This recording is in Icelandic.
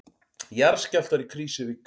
Jarðskjálftar í Krýsuvík